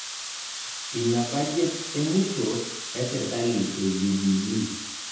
Ina bajet emusho e sirkali e jubilii